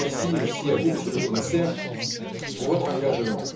Merci aussi à vous, Monsieur le Commissaire, pour votre engagement.